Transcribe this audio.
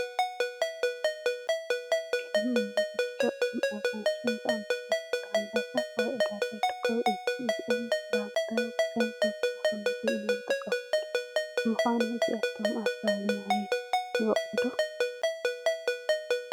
ከም እኒ ብርጭቕን ኣራንሽን ዝኣምሰሉ ፍረምረታት ኣብ ዕዳጋ ይርቡ እዮም፡፡ እዞም ፍረ ምረ ከም ተወሳኺ ምግቢ ኢና ንጥቀመሎም፡፡ ንምዃኑ እዚኣቶም ኣብ ከባቢኹም ይበቑሉ ዶ?